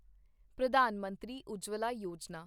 Pradhan Mantri Ujjwala Yojana